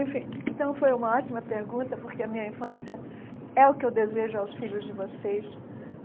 Enfim, então foi uma ótima pergunta porque a minha infância é o que eu desejo aos filhos de vocês.